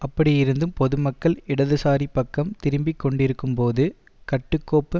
அப்படியிருந்தும் பொதுமக்கள் இடதுசாரி பக்கம் திரும்பிக் கொண்டிருக்கும்போது கட்டுக்கோப்பு